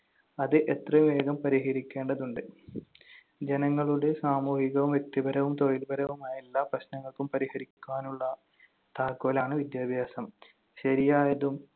അത് എത്രയും വേഗം പരിഹരിക്കേണ്ടതുണ്ട്. ജനങ്ങളുടെ സാമൂഹികവും വ്യക്തിപരവും തൊഴിൽപരവുമായ എല്ലാ പ്രശ്നങ്ങൾക്കും പരിഹരിക്കാനുള്ള താക്കോലാണ് വിദ്യാഭ്യാസം. ശരിയായതും